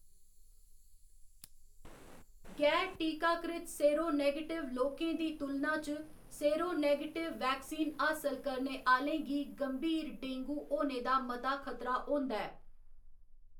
गैर टीकाकृत सेरोनगेटिव लोकें दी तुलना च सेरोनिगेटिव वैक्सीन हासल करने आह्‌लें गी गंभीर डेंगू होने दा मता खतरा होंदा ऐ।